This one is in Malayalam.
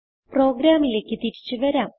പ്രോഗ്രാമിലേക്ക് തിരിച്ചു വരാം